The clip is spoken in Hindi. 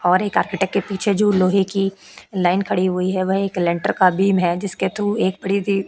और एक आर्किटेक्ट के पीछे जो लोहे की लाइन खड़ी हुई है। वह एक लेंटर का बीम है। जिसके थ्रू एक प्रीति --